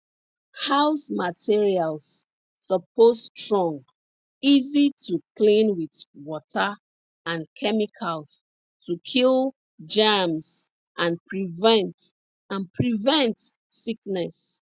house materials suppose strong easy to clean with water and chemicals to kill germs and prevent and prevent sickness